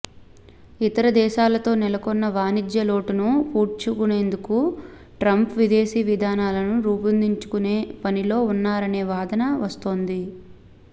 ఇతర దేశాలతో నెలకొన్న వాణిజ్య లోటును పూడ్చుకునేందుకు ట్రంప్ విదేశీ విధానాలను రూపొందించుకునే పనిలో ఉన్నారనే వాదన వస్తోంది